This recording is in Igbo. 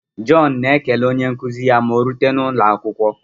John na-ekele onye nkuzi ya ma orute n'ụlọakwụkwọ.